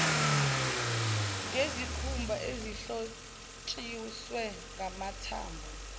ngezikhumba ezihlotshiswe ngamathambo